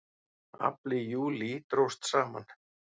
Afli í júlí dróst saman